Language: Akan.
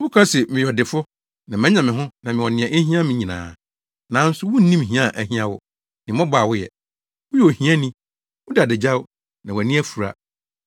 Woka se, ‘meyɛ ɔdefo na manya me ho na mewɔ nea ehia me nyinaa.’ Nanso, wunnim hia a ahia wo ne mmɔbɔ a woyɛ. Woyɛ ohiani. Woda adagyaw, na wʼani afura.